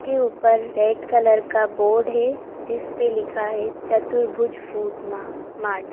के ऊपर red colour का बोर्ड है जिसपे लिखा है चतुर्भुज फूट मार्क मार्ट --